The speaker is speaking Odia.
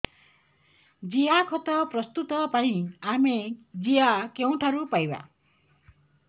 ଜିଆଖତ ପ୍ରସ୍ତୁତ ପାଇଁ ଆମେ ଜିଆ କେଉଁଠାରୁ ପାଈବା